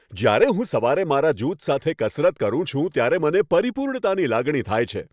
જ્યારે હું સવારે મારા જૂથ સાથે કસરત કરું છું, ત્યારે મને પરિપૂર્ણતાની લાગણી થાય છે.